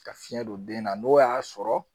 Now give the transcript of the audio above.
Ka fiyɛn don den na n'o y'a sɔrɔ